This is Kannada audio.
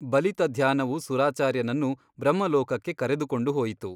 ಬಲಿತ ಧ್ಯಾನವು ಸುರಾಚಾರ್ಯನನ್ನು ಬ್ರಹ್ಮಲೋಕಕ್ಕೆ ಕರೆದುಕೊಂಡು ಹೋಯಿತು.